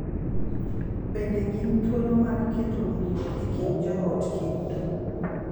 Bende gin thuolo mag keto winjruok e kind joot kendo,